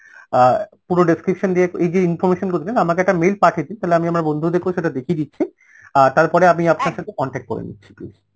অ্যাঁ পুরো description দিয়ে এই যে information গুলো দিলেন আমাকে একটা mail পাঠিয়ে দিন তাহলে আমি আমার বন্ধুদেরকেও সেটা দেখিয়ে দিচ্ছি আর তারপরে আমি আপনার সাথে contact করে নিচ্ছি please